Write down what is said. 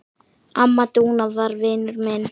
Amma Dúna var vinur minn.